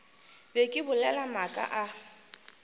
be ke bolela maaka a